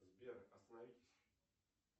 сбер остановитесь